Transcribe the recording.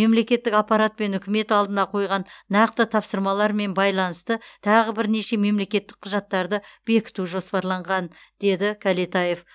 мемлекеттік аппарат пен үкімет алдына қойған нақты тапсырмалармен байланысты тағы бірнеше мемлекеттік құжаттарды бекіту жоспарланған деді кәлетаев